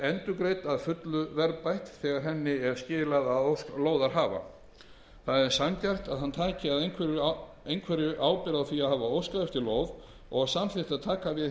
endurgreidd að fullu verðbætt þegar henni er skilað að ósk lóðarhafa það er sanngjarnt að hann taki að einhverju leyti ábyrgð á því að hafa óskað eftir lóð og samþykkt að taka